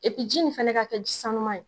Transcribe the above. E ji nin fana ka kɛ ji sanuman ye.